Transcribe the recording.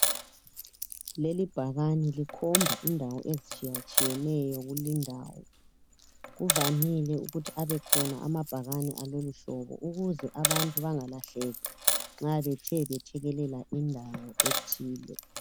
Leli bhakane likhomba indawo ezitshiyatshiyeneyo kulindawo, kuvamile ukuthi abekhona amabhakani aloluhlobo ukuze abantu bangalahleki nxa bethe bethekelela indawo ethile.